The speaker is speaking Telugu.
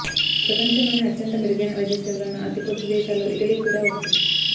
ప్రపంచంలోనే అత్యంత మెరుగైన వైద్య సేవలున్న అతి కొద్దీ దేశాల్లో ఇటలీ కూడా ఒకటి